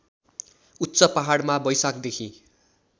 उच्च पहाडमा वैशाखदेखि